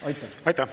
Aitäh!